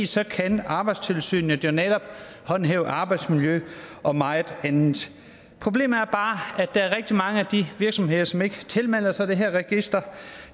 så kan arbejdstilsynet jo netop håndhæve arbejdsmiljø og meget andet problemet er bare at der er rigtig mange virksomheder som ikke tilmelder sig det her register